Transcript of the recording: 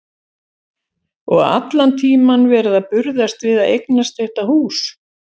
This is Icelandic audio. Og allan tímann verið að burðast við að eignast þetta hús.